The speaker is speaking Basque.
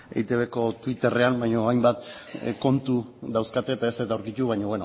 eitbko twitterrean baina hainbat kontu dauzkate eta ez dut aurkitu baina